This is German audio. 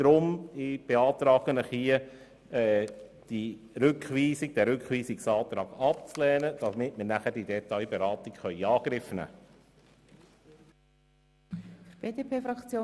Darum beantrage ich, den Rückweisungsantrag abzulehnen, damit wir anschliessend die Detailberatung in Angriff nehmen können.